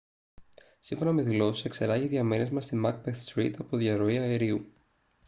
σύμφωνα με δηλώσεις εξερράγη διαμέρισμα στη macbeth street από διαρροή αερίου